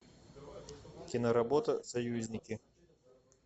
киноработа союзники